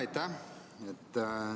Aitäh!